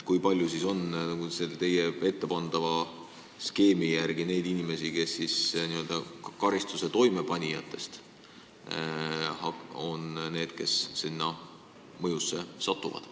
Kui palju on teie skeemi järgi neid inimesi, kuriteo toimepanijaid, keda see muudatus mõjutab?